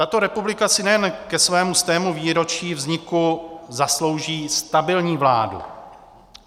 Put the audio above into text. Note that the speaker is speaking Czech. Tato republika si nejen ke svému stému výročí vzniku zaslouží stabilní vládu.